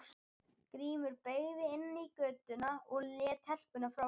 Grímur beygði inn í götuna og lét telpuna frá sér.